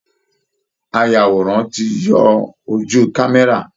Ayàwòrán ti yọ ojú kámẹ́rà